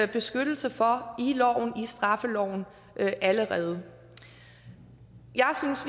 vi beskyttelse for i straffeloven allerede jeg synes